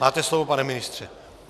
Máte slovo, pane ministře.